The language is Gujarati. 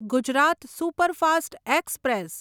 Gujarat superfast express